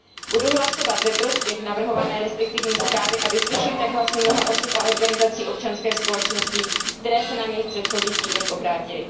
Budu hlasovat ve prospěch navrhované restriktivní zprávy a vyslyším tak hlasy mnoha osob a organizací občanské společnosti, které se na mě v předchozích týdnech obrátily.